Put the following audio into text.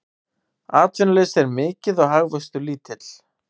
Atvinnuleysi er mikið og hagvöxtur lítill